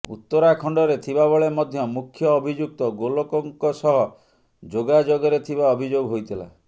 ଉତ୍ତରାଖଣ୍ଡରେ ଥିବାବେଳେ ମଧ୍ୟ ମୁଖ୍ୟ ଅଭିଯୁକ୍ତ ଗୋଲକଙ୍କ ସହ ଯୋଗଯୋଗରେ ଥିବା ଅଭିଯୋଗ ହୋଇଥିଲା